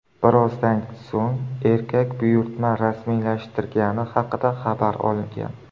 Birozdan so‘ng erkak buyurtma rasmiylashtirilgani haqida xabar olgan.